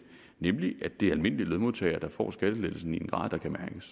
nemlig at det er almindelige lønmodtagere der får skattelettelsen i en grad